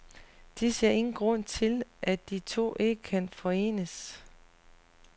De ser ingen grund til, at de to ikke kan forenes.